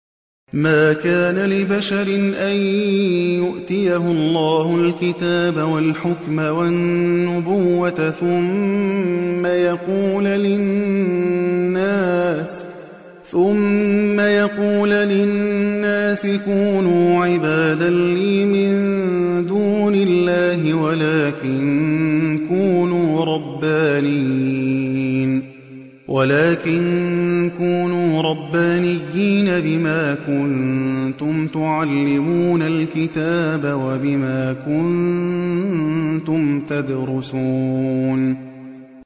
مَا كَانَ لِبَشَرٍ أَن يُؤْتِيَهُ اللَّهُ الْكِتَابَ وَالْحُكْمَ وَالنُّبُوَّةَ ثُمَّ يَقُولَ لِلنَّاسِ كُونُوا عِبَادًا لِّي مِن دُونِ اللَّهِ وَلَٰكِن كُونُوا رَبَّانِيِّينَ بِمَا كُنتُمْ تُعَلِّمُونَ الْكِتَابَ وَبِمَا كُنتُمْ تَدْرُسُونَ